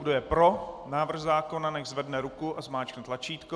Kdo je pro návrh zákona, nechť zvedne ruku a zmáčkne tlačítko.